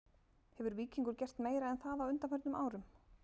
Hefur Víkingur gert meira en það á undanförnum árum??